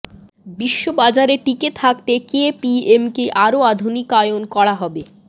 বিশ্ব বাজারে টিকে থাকতে কেপিএমকে আরো আধুনিকায়ন করা হবে